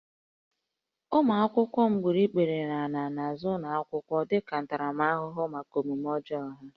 Ụmụ akwụkwọ m gburu ikpere n'ala n'azụ ụlọ akwụkwọ dịka ntaramahụhụ maka omume ọjọọ ha